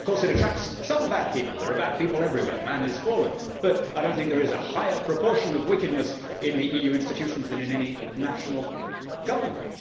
Of course it attracts some bad people, there are bad people everywhere, man is fallen, but I do not think there is a higher proportion of wickedness in the EU institutions than in any national government.